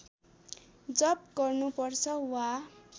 जप गर्नुपर्छ वा